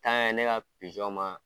ne ka pijɔn ma